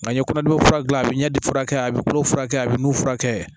Nka n ye kɔnɔdimi fura dilan a bɛ ɲɛ furakɛ a bɛ kolo furakɛ a bɛ nu furakɛ